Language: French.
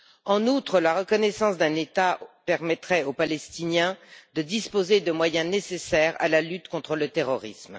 En outre, la reconnaissance d'un État permettrait aux Palestiniens de disposer de moyens nécessaires à la lutte contre le terrorisme.